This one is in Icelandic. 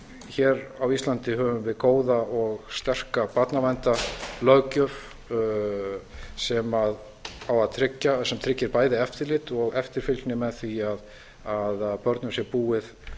hér á íslandi höfum við góða og sterka barnaverndarlöggjöf sem tryggir bæði eftirlit og eftirfylgni með því að börnum sé búið